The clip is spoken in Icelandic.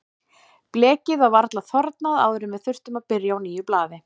Blekið var varla þornað áður en við þurftum að byrja á nýju blaði.